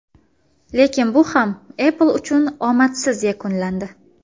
Lekin bu ham Apple uchun omadsiz yakunlandi.